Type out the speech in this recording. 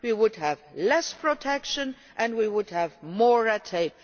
We would have less protection and we would have more red tape.